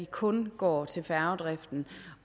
kun går til færgedriften